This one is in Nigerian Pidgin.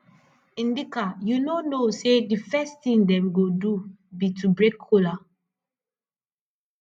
ndka you no know say the first thing dem go do be to break kola